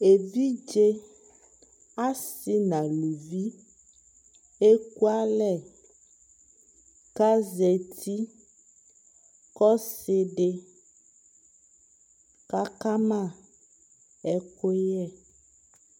ɛvidzɛ asii nʋ alʋvi ɛkʋ alɛ kʋ azati kʋ ɔsiidi kakama ɛkʋyɛ